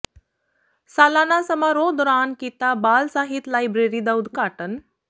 ਸਾਲਾਨਾ ਸਮਾਰੋਹ ਦੌਰਾਨ ਕੀਤਾ ਬਾਲ ਸਾਹਿਤ ਲਾਇਬਰੇਰੀ ਦਾ ਉਦਘਾਟਨ